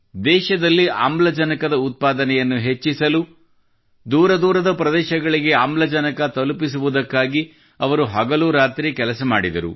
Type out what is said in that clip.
ದೇಶದಲ್ಲಿ ಆಮ್ಲಜನಕದ ಉತ್ಪಾದನೆಯನ್ನು ಹೆಚ್ಚಿಸಲು ದೂರ ದೂರದ ಪ್ರದೇಶಗಳಿಗೆ ಆಮ್ಲಜನಕ ತಲುಪಿಸುವುದಕ್ಕಾಗಿ ಅವರು ಹಗಲುರಾತ್ರಿ ಕೆಲಸ ಮಾಡಿದರು